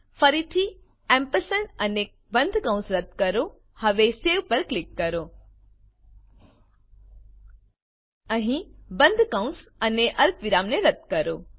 ફરીથી અને બંધ કૌંસ રદ્દ કરો હવે સવે પર ક્લિક કરો અહીં બંધ કૌંસ અને અલ્પવિરામને રદ્દ કરો